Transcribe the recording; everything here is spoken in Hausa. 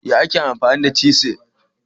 Ya ake amfani cisir?